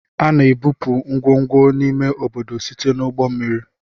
A na-ebupụ ngwongwo n'ime obodo site na ụgbọ mmiri.